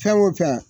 Fɛn o fɛn